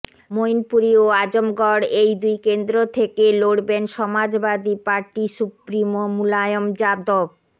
মৈনপুরী ও আজমগড় এই দুই কেন্দ্র থেকে লড়বেন সমাজবাদী পার্টি সুপ্রিমো মুলায়ম যাদব